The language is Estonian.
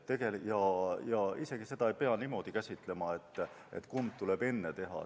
Seda ei pea isegi niimoodi käsitlema, et kumb tuleb enne ära teha.